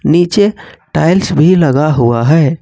नीचे टाइल्स भी लगा हुआ है।